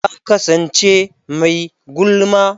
Ta kasance mai gulma.